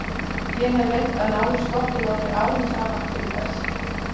Ég hef reynt að ná í skottið á þér árum saman til þess.